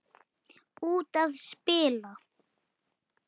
Út að spila.